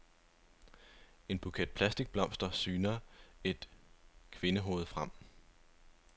I en buket plastikblomster syner et kvindehoved frem.